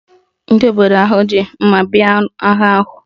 Ndị obodo ahụ ji mma bịa agha ahụ